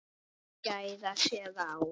Þau gæða sér á